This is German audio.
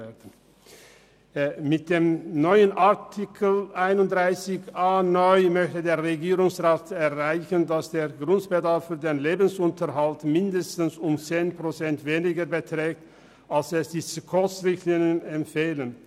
Mit dem neuen Artikel 31a (neu) möchte der Regierungsrat erreichen, dass der Grundbedarf für den Lebensunterhalt mindestens 10 Prozent weniger beträgt, als es die SKOS-Richtlinien empfehlen.